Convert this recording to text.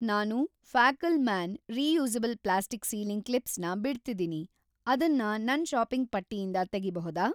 ನಾನು ಫ್ಯಾಕಲ್‌ಮಾನ್ನ್ reusable plastic sealing clips ನ ಬಿಡ್ತಿದೀನಿ, ಅದನ್ನ‌ ನನ್‌ ಷಾಪಿಂಗ್‌ ಪಟ್ಟಿಯಿಂದ ತೆಗಿಬಹುದಾ?